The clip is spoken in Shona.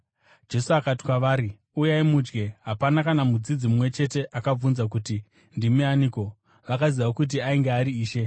Jesu akati kwavari, “Uyai mudye.” Hapana kana mudzidzi mumwe chete akabvunza kuti, “Ndimi aniko?” Vakaziva kuti ainge ari Ishe.